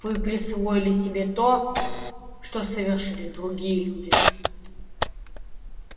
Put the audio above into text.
вы присвоили себе то что совершили другие люди